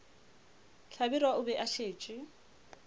hlabirwa o be a šetše